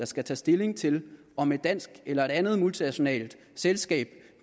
skal tage stilling til om et dansk eller et andet multinationalt selskab